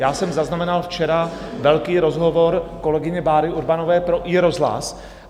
Já jsem zaznamenal včera velký rozhovor kolegyně Báry Urbanové pro iRozhlas.